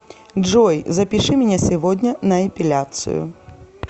джой запиши меня сегодня на эпиляцию